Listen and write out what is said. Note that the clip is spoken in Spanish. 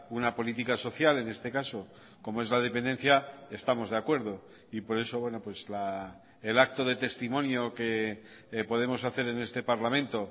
una política social en este caso como es la dependencia estamos de acuerdo y por eso el acto de testimonio que podemos hacer en este parlamento